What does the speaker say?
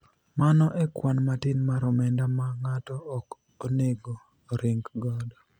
mano e kwan matin mar omenda ma ng'ato ok onego oring godo